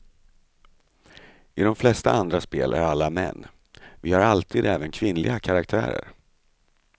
I de flesta andra spel är alla män, vi har alltid även kvinnliga karaktärer.